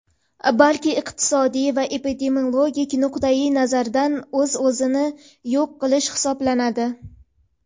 balki iqtisodiy va epidemiologik nuqtai nazardan o‘z-o‘zini yo‘q qilish hisoblanadi.